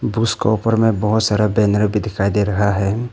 ऊपर में बहोत सारा बैनर भी दिखाई दे रहा है।